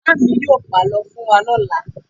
Màámi yóò pàlọ́ fún wa lọ́la.